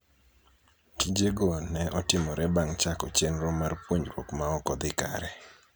Tijego ne otimore bang' chako chenro mar puonjruok ma ok odhi kare